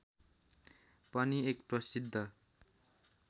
पनि एक प्रसिद्ध